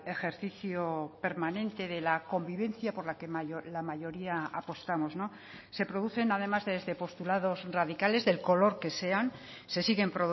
ejercicio permanente de la convivencia por la que la mayoría apostamos se producen además desde postulados radicales del color que sean se siguen